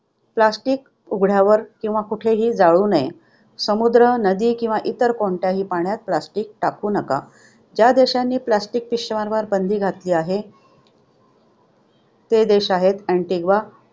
Plastic उघड्यावर किंवा कुठेही जाळू नये. समुद्र, नदी किंवा इतर कोणत्याही पाण्यात plastic टाकू नका. ज्या देशांनी plastic पिशव्यांवर बंदी घातली आहे ते देश आहेत अँटिग्वा